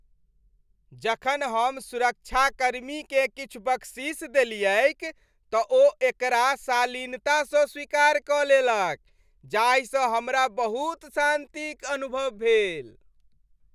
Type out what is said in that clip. जखन हम सुरक्षाकर्मीकेँ किछु बख्शीश देलियैक त ओ एकरा शालीनतासँ स्वीकार कऽ लेलक जाहि सँ हमरा बहुत शान्तिक अनुभव भेल।